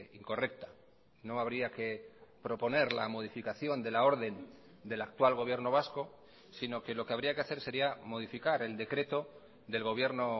incorrecta no habría que proponer la modificación de la orden del actual gobierno vasco sino que lo que habría que hacer sería modificar el decreto del gobierno